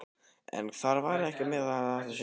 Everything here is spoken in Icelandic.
En þar með er ekki sagt að átt sé við